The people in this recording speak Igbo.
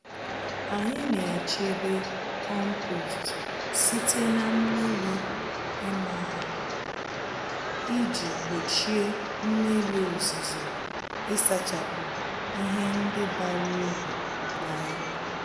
Anyị naechebe kompost site na mmírí ịma ha, iji gbochie mmírí ozuzo ịsachapụ ihe ndị bara uru na ya